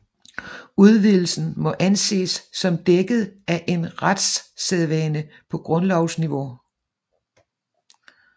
Udvidelsen må anses som dækket af en retssædvane på grundlovs niveau